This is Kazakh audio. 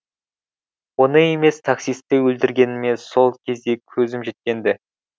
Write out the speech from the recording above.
оны емес таксисті өлтіргеніме сол кезде көзім жеткен ді